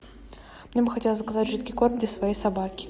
мне бы хотелось заказать жидкий корм для своей собаки